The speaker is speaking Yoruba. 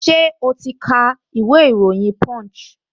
Ṣẹ́ o ti ka ìwé ìròyìn punch?